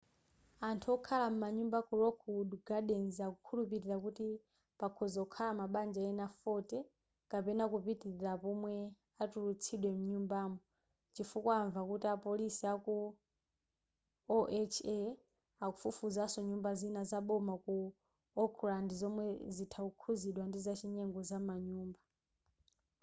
anthu okhala m'manyumba ku lockwood gardens akukhulupilira kuti pakhoza kukhala mabanja ena 40 kapena kupitilira apo womwe atulutsidwe mnyumbamo chifukwa amva kuti apolisi aku oha akufufuzanso nyumba zina za boma ku oakland zomwe zitha kukhuzidwa ndi zachinyengo zamanyumba